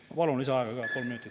Ma palun lisaaega kolm minutit.